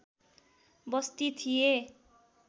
बस्ती थिए